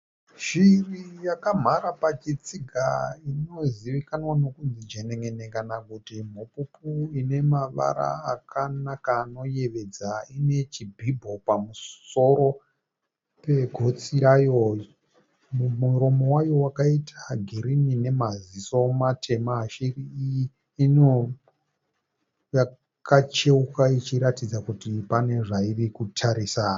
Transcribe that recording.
Shiri yakamhara pachitsiga inozivikanwa nokunzi jenen'ene kana kuti mhupupu ine mavara akanaka anoyevedza. Ine chibhibho pamusoro pegotsi rayo. Mumuromo wayo wakaita girini namaziso matema. Shiri iyi inonge yakacheuka ichiratidza kuti pane zvairi kutarisa.